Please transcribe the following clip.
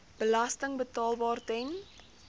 belasting betaalbaar ten